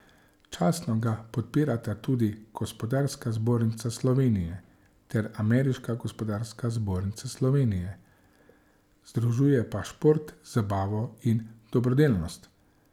Častno ga podpirata tudi Gospodarska zbornica Slovenije ter ameriška gospodarska zbornica Slovenije, združuje pa šport, zabavo in dobrodelnost.